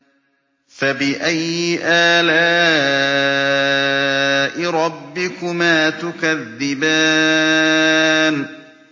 فَبِأَيِّ آلَاءِ رَبِّكُمَا تُكَذِّبَانِ